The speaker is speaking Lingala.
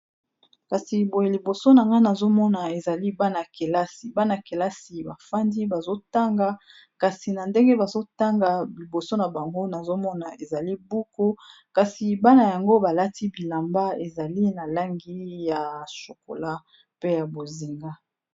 kasi boye liboso na nga nazomona ezali bana-kelasi bana-kelasi bafandi bazotanga kasi na ndenge bazotanga biboso na bango nazomona ezali buku kasi bana yango balati bilamba ezali na langi ya shokola pe ya bozinga